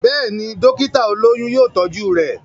Béèni, dókítà olóyún yóò tọ́jú rẹ̀.